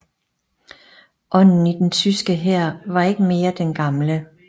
Ånden i den tyske hær var ikke mere den gamle